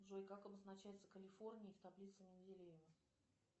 джой как обозначается калифорний в таблице менделеева